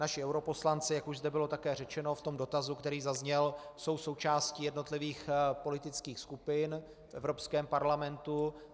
Naši europoslanci, jak už zde bylo také řečeno v tom dotazu, který zazněl, jsou součástí jednotlivých politických skupin v Evropském parlamentu.